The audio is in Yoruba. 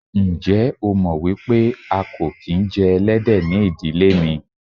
Ǹjẹ́ o mọ̀ wípé a kò kín jẹ Ẹlẹ́dẹ̀ ni ìdílé mi.